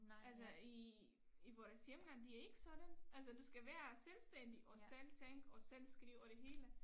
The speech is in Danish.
Altså i i vores hjemland det ikke sådan altså du skal være selvstændig og selv tænke og selv skrive og det hele